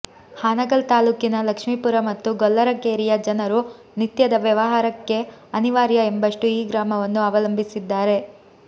ಹಾನಗಲ್ ತಾಲ್ಲೂಕಿನ ಲಕ್ಷ್ಮೀಪುರ ಮತ್ತು ಗೊಲ್ಲರ ಕೇರಿಯ ಜನರು ನಿತ್ಯದ ವ್ಯವಹಾರಕ್ಕೆ ಅನಿವಾರ್ಯ ಎಂಬಷ್ಟು ಈ ಗ್ರಾಮವನ್ನು ಅವಲಂಬಿಸಿದ್ದಾರೆ